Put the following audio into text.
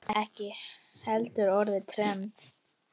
Ekki heldur orðið trend.